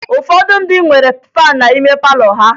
Ụfọdụ ndị nwere faan n'ime palọ ha